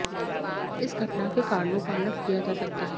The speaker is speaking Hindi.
इस घटना के कारणों का अलग किया जा सकता है